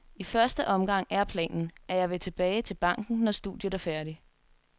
I første omgang er planen, at jeg vil tilbage til banken, når studiet er færdigt.